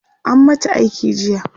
an mata aiki jiya